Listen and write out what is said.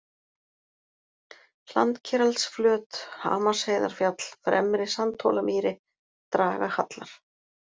Hlandkeraldsflöt, Hamarsheiðarfjall, Fremri-Sandhólamýri, Dragahallar